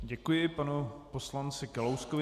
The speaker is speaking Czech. Děkuji panu poslanci Kalouskovi.